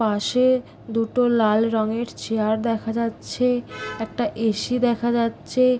পাশে দুটো লাল রঙের চেয়ার দেখা যাচ্ছে একটা এ. সি. দেখা যাচ্ছে।